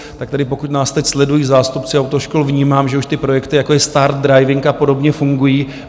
Tak tedy pokud nás teď sledují zástupci autoškol, vnímám, že už ty projekty, jako je Start Driving a podobně, fungují.